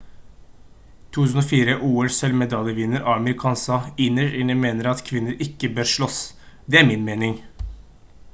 2004 ol-sølv-medaljevinner amir khan sa: «innerst inne mener jeg at kvinner ikke bør slåss. det er min mening»